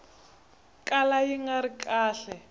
kala yi nga ri kahle